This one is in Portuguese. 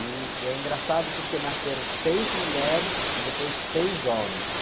E, e é engraçado porque nasceram seis mulheres e depois seis homens.